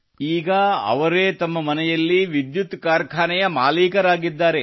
ಈಗ ಅವರೇ ತಮ್ಮ ಮನೆಯಲ್ಲಿ ವಿದ್ಯುತ್ ಕಾರ್ಖಾನೆಯ ಮಾಲೀಕರಾಗಿದ್ದಾರೆ